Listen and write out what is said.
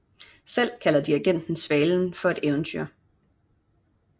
Selv kalder digteren Svalen for et eventyr